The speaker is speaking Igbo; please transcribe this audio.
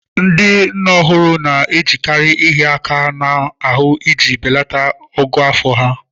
Ndị nne ọhụrụ na-ejekarị ịhịa aka n'ahụ iji belata ogo afọ ha.